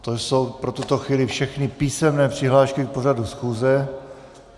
To jsou pro tuto chvíli všechny písemné přihlášky k pořadu schůze.